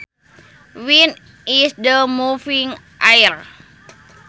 Wind is the moving air